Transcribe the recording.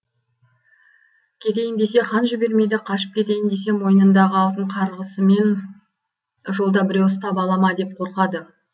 кетейін десе хан жібермейді қашып кетейін десе мойнындағы алтын қарғысымен жолда біреу ұстап ала ма деп қорқады